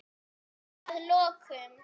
Að lokum.